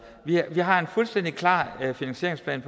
vi har en fuldstændig finansieringsplan